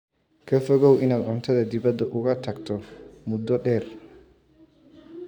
Ka fogow in aad cuntada dibadda uga tagto muddo dheer.